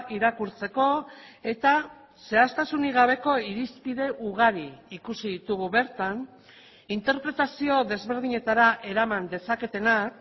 irakurtzeko eta zehaztasunik gabeko irizpide ugari ikusi ditugu bertan interpretazio desberdinetara eraman dezaketenak